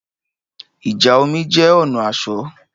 Ìjà omi jẹ́ ọ̀nà asọ̀